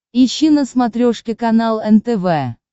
ищи на смотрешке канал нтв